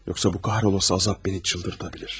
Yoxsa bu lənətə gəlmiş əzab məni dəli edə bilər.